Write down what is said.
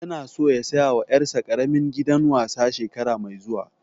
Ya na so ya saya wa ƴar sa ƙaramin gidan wasa shekara mai zuwa